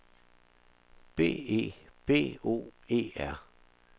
B E B O E R